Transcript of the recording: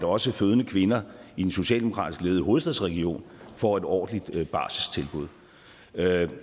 også fødende kvinder i den socialdemokratisk ledede hovedstadsregion får et ordentligt barselstilbud jeg